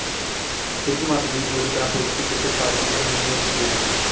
ਇਸ ਮਤ ਦੀ ਪੂਰੀ ਤਰ੍ਹਾਂ ਪੁਸ਼ਟੀ ਕਿਸੇ ਫਾਸਿਲ ਤੋਂ ਨਹੀਂ ਹੋ ਸਕੀ ਹੈ